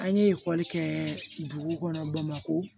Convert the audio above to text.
An ye ekɔli kɛ dugu kɔnɔ bamako